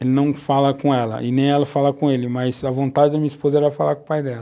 Ele não fala com ela e nem ela fala com ele, mas a vontade da minha esposa era falar com o pai dela.